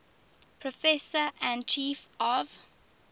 professor and chief of